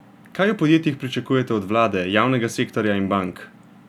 Kaj v podjetjih pričakujete od vlade, javnega sektorja in bank?